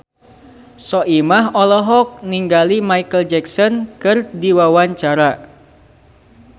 Soimah olohok ningali Micheal Jackson keur diwawancara